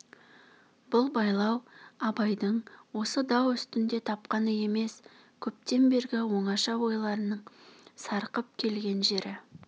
бұл байлау абайдың осы дау үстінде тапқаны емес көптен бергі оңаша ойларының сарқып келген жері